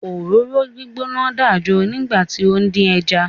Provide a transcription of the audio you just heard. Òróró gbígbóná dàjo nígbà tí ó ń dín ẹja.